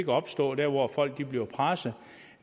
opstå der hvor folk bliver presset